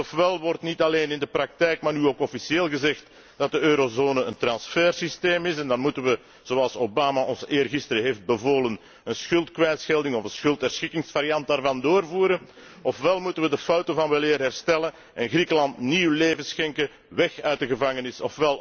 Dus ofwel wordt niet alleen in de praktijk maar nu ook officieel gezegd dat de eurozone een transfer systeem is en dan moeten we, zoals Obama ons eergisteren heeft bevolen, een schuldkwijtschelding of een schuldherschikkingsvariant daarvan doorvoeren, ofwel moeten we de fouten van weleer herstellen en Griekenland nieuw leven schenken, weg uit de gevangenis.